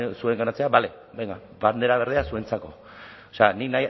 zuenganatzea bale venga bandera berdea zuentzako nik